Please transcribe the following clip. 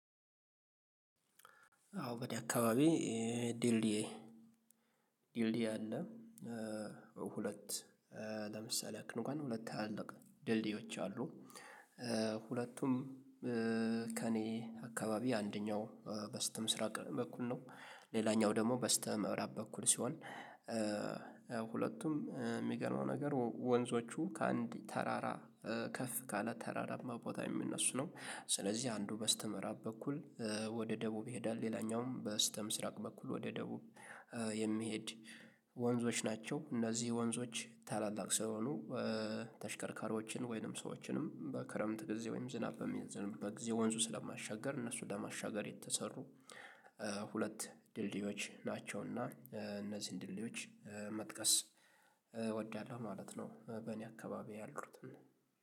አዎ በደ አካባቢ ዲልዲያ ዲልዲያ አለ። ሁለት ለምሳሌ ያክል እንኳን ሁለት አለቀ ድልድዮች አሉ። ሁለቱም ከእኔ አካባቢ አንደኛው በስተምስራቅ በኩል ነው ሌላኛው ደግሞ በስተመራ በኩል ሲሆን። ሁለቱም የሚገርመው ነገር ወንዞቹ ከአንድ ተራራ ከፍ ካለ ተራራማ ቦታ የሚነሱ ነው። ስለዚህ አንዱ በስተምዕራብ በኩል ወደ ደቡብ ይሄዳል ሌላኛውም በስተምስራቅ በኩል ወደ ደቡብ የሚሄድ ወንዞች ናቸው እነዚህ ወንዞች ታላላቅ ስለሆኑ። ተሽከርካሪዎችን ወይንም ሰዎችንም በክረምት ጊዜ ወይም ዝናብ በሚዘንብበት ጊዜ ወንዙ ስለማያሻግር እነሱ ለማሻገር የተሰሩ ሁለት ድልድዮች ናቸውና እነዚህን ዲልዲዎች መጥቀስ እወዳለሁ ማለት ነው። በእኔ አካባቢ ያሉትን